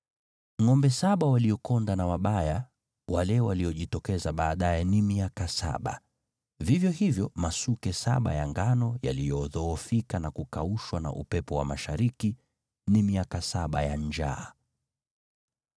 Ngʼombe saba waliokonda na wabaya wale waliojitokeza baadaye ni miaka saba, vivyo hivyo masuke saba ya ngano yaliyodhoofika na kukaushwa na upepo wa mashariki, ni miaka saba ya njaa.